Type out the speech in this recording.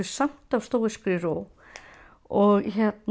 samt af stóískri ró og